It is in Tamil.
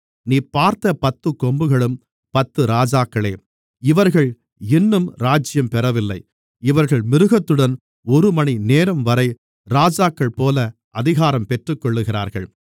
நீ பார்த்த பத்துக்கொம்புகளும் பத்து ராஜாக்களே இவர்கள் இன்னும் ராஜ்யம் பெறவில்லை இவர்கள் மிருகத்துடன் ஒருமணி நேரம்வரை ராஜாக்கள்போல அதிகாரம் பெற்றுக்கொள்ளுகிறார்கள்